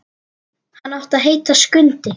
Hann átti að heita Skundi.